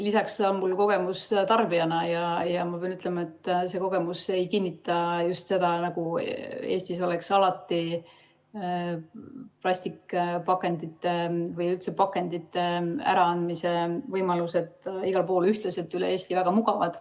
Lisaks on mul kogemus tarbijana ja ma pean ütlema, et see kogemus ei kinnita seda, nagu alati oleks plastpakendite või üldse pakendite äraandmise võimalused igal pool ühtlaselt üle Eesti väga mugavad.